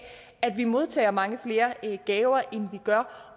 at vi modtager mange flere gaver end vi gør